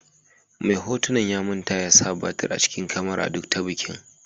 Mai hotunan ya manta ya sa batir a cikin kamaran duk ta bikin.